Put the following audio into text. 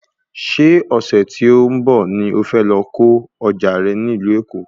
Ṣé ọ̀sẹ̀ tí ó ń bọ̀ ni o fẹ́ lọ ko ọjà rẹ ní ìlú Èkó